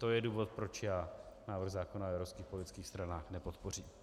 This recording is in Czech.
To je důvod, proč já návrh zákona o evropských politických stranách nepodpořím.